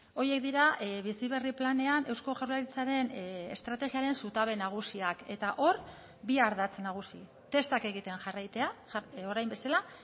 horiek dira bizi berri planean eusko jaurlaritzaren estrategiaren zutabe nagusiak eta hor bi ardatz nagusi testak egiten jarraitzea orain bezala